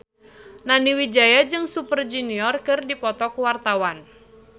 Nani Wijaya jeung Super Junior keur dipoto ku wartawan